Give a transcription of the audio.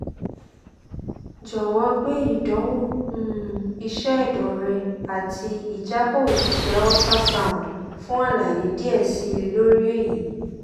jowo gbe idanwo um iṣẹ ẹdọ rẹ ati ijabọ osise ultrasound fun alaye diẹ sii lori eyi